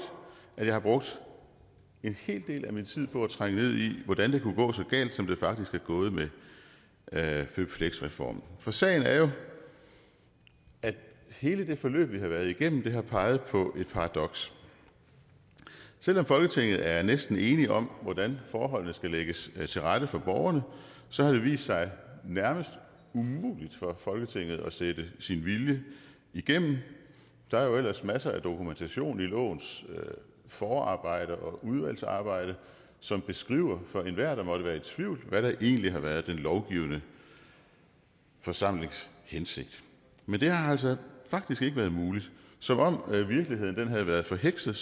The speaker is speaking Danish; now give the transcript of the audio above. har jeg brugt en hel del af min tid på at trænge ned i hvordan det kunne gå så galt som det faktisk er gået med med fleksjobreformen for sagen er jo at hele det forløb vi har været igennem har peget på et paradoks selv om folketinget er næsten enige om hvordan forholdene skal lægges til rette for borgerne så har det vist sig nærmest umuligt for folketinget at sætte sin vilje igennem der er jo ellers masser af dokumentation i lovens forarbejde og udvalgsarbejde som beskriver for enhver der måtte være i tvivl hvad der egentlig har været den lovgivende forsamlings hensigt men det har altså faktisk ikke været muligt som om virkeligheden havde været forhekset